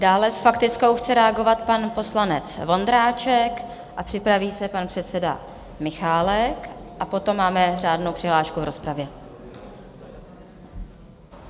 Dále s faktickou chce reagovat pan poslanec Vondráček, připraví se pan předseda Michálek a potom máme řádnou přihlášku v rozpravě.